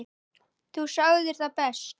Þú sagðir það best.